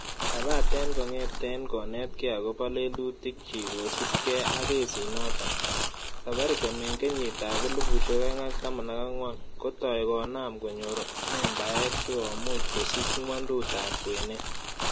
Kabaten kong'eten ngonetke agobo lelutikchik kosiibge ak kesinoton, Safaricom en kenyitab 2014,Kotoi konaam konyor membaek si komuch kosich ngwondutab kwenet.